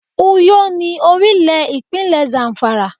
Uyó ni orílè ìpínlẹ̀ Zamfara